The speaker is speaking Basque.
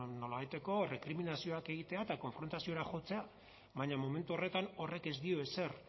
nolabaiteko rekriminazioak egitea eta konfrontaziora jotzea baina momentu horretan horrek ez dio ezer